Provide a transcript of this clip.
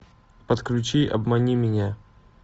подключи обмани меня